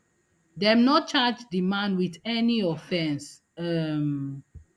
dem no charge di man wit any offence um